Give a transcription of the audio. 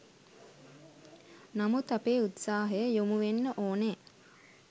නමුත් අපේ උත්සාහය යොමු වෙන්න ඕනේ